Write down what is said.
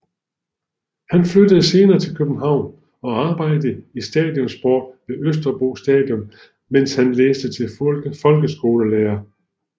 Han flyttede senere til København og arbejdede i Stadion Sport ved Østerbro Stadion mens han læste til folkeskolelærer